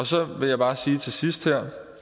så vil jeg bare sige her til sidst at